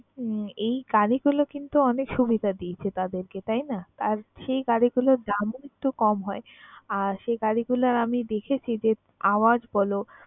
উম এই গাড়িগুলা কিন্তু অনেক সুবিধা দিয়েছে তাদেরকে তাই না? আর সেই গাড়িগুলোর দামও একটু কম হয় আর সেই গাড়িগুলোর আমি দেখেছি যে আওয়াজ বল